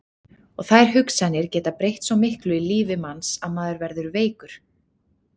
Og þær hugsanir geta breytt svo miklu í lífi manns að maður verður veikur.